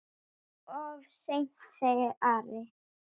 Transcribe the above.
Of seint, sagði Ari.